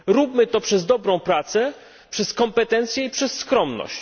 Róbmy to przez dobrą pracę, przez kompetencje i przez skromność.